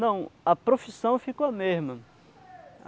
Não, a profissão ficou a mesma.